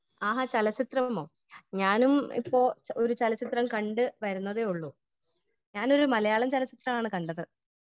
Speaker 1 ആഹാ ചലച്ചിത്രമോ ? ഞാനും ഇപ്പോൾ ഒരു ചലച്ചിത്രം കണ്ട് വരുന്നതെയുള്ളു . ഞാനൊരു മലയാളം ചലച്ചിത്രമാണ് കണ്ടത് .